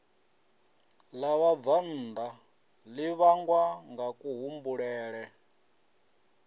ḽa vhabvannḓa ḽi vhangwa ngakuhumbulele